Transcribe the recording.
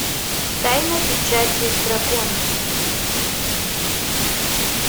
тайна печати дракона